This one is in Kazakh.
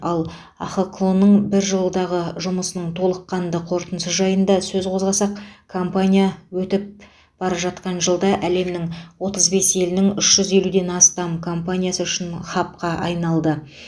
ал ахқо ның бір жылдағы жұмысының толыққанды қорытындысы жайында сөз қозғасақ компания өтіп бара жатқан жылда әлемнің отыз бес елінің үш жүз елуден астам компаниясы үшін хабқа айналды